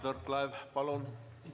Mart Võrklaev, palun!